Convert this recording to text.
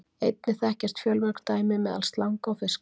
Einnig þekkjast fjölmörg dæmi meðal slanga og fiska.